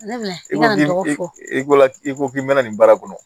I ko k'i bɛna nin baara kɔnɔ